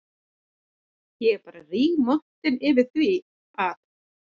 Ég var bara rígmontin yfir því að